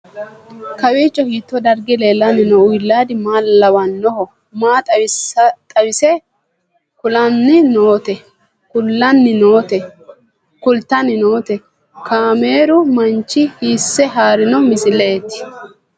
Kowiicho hiito dargi leellanni no ? ulayidi maa lawannoho ? maa xawisse kultanni noote ? kaameru manchi hiisse haarino misileeti?